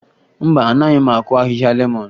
Mba, anaghị m akụ ahịhịa lemọn